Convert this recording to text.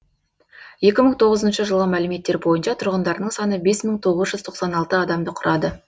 екі мың тоғызыншы жылғы мәліметтер бойынша тұрғындарының саны бес мың тоғыз жүз тоқсан алты адамды құрады